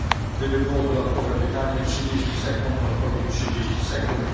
Gdyby było dodatkowe pytanie trzydzieści sekund, odpowiedź także trzydzieści sekund.